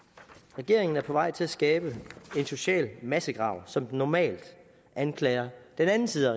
regeringen er på vej til at skabe en social massegrav som den normalt anklager den anden side af